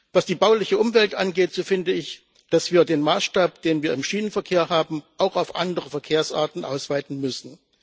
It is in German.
Was die bauliche Umwelt angeht, so finde ich, dass wir den Maßstab, den wir im Schienenverkehr haben, auch auf andere Verkehrsarten ausweiten müssen.